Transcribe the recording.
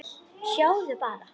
Sjáðu bara!